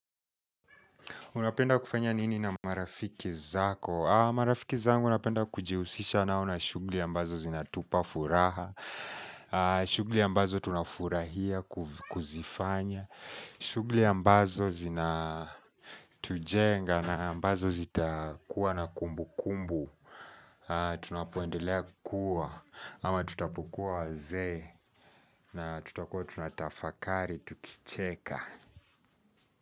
Unapenda kufanya nini na marafiki zako? Marafiki zangu napenda kujihusisha nao na shughuli ambazo zinatupa furaha. Shugli ambazo tunafurahia kuzifanya. Shugli ambazo zinatujenga na ambazo zitakuwa na kumbu kumbu. Tunapoendelea kuwa ama tutapokua wazee na tutakua tunatafakari tukicheka.